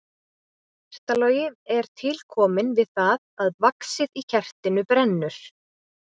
Kertalogi er til kominn við það að vaxið í kertinu brennur.